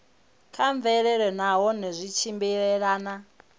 kha mvelelo nahone zwi tshimbilelana